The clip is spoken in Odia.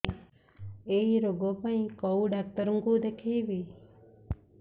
ଏଇ ରୋଗ ପାଇଁ କଉ ଡ଼ାକ୍ତର ଙ୍କୁ ଦେଖେଇବି